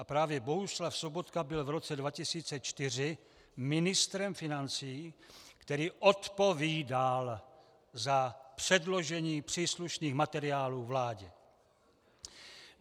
A právě Bohuslav Sobotka byl v roce 2004 ministrem financí, který odpovídal za předložení příslušných materiálů vládě.